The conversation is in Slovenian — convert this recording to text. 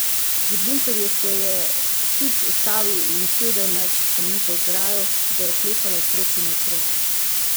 Pri bunkerju se je Sič ustavil in sedel na kamnito ograjo, ki ga je oklepala okrog in okrog.